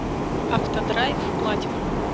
автодрайв платинум